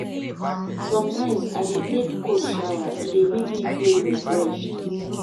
Sometimes, I dey take cold shower, e dey make me feel refreshed.